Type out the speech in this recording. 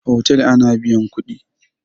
Otal ana biyan kuɗi.